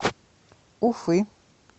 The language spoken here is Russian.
уфы